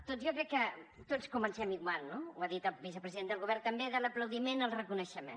doncs jo crec que tots comencem igual no ho ha dit el vicepresident del govern també de l’aplaudiment al reconeixement